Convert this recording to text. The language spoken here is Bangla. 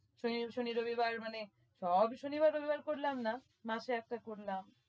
শনি শনি রবিবার মানে সব শনিবার রবিবার করলাম না মাসে একটা করলাম